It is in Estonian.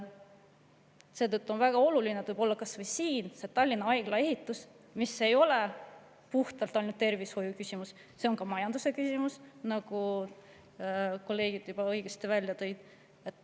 Seetõttu on väga oluline kas või Tallinna Haigla ehitus, mis ei ole ainult tervishoiuküsimus, vaid ka majanduse küsimus, nagu kolleegid õigesti välja tõid.